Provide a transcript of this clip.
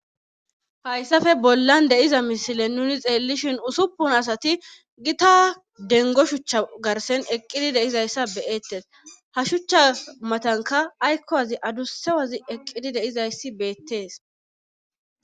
Haysape bollan de7iza misilen nuni xeellishen usuppun asati gita denggo shucha garssen eqqidi de7izayssa be7eettes ha shucha matankka aykko azi adussa azi eqqidi de7izayssi beettes.